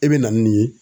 I bɛ na n'u ye